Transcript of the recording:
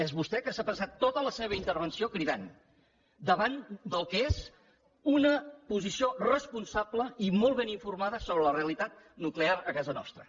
és vostè que s’ha passat tota la seva intervenció cridant davant del que és una posició responsable i molt ben informada sobre la realitat nuclear a casa nostra